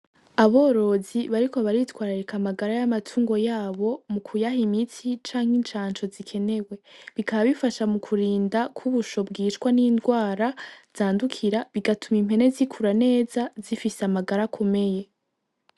Aborozi bariko baritwararika amagara y'amatungo yabo mu kuyaha imiti canke incanco zikenewe bikaba bifasha mu kurinda ko ubusho bwicwa n'ingwara zandukira bigatuma impene zikura neza zifise amagara akomeye.